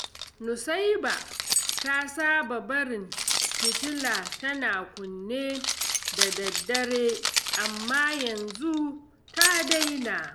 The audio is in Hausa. Nusaiba ta saba barin fitila tana kunne da daddare, amma yanzu ta daina.